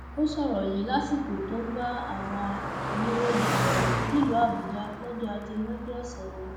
ó sọrọ yìí lásìkò tó ń bá àwọn oníròyìn sọrọ nílùú àbújá lọjọ ajé monde ọsẹ yìí